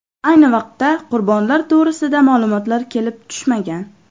Ayni vaqtda qurbonlar to‘g‘risida ma’lumotlar kelib tushmagan.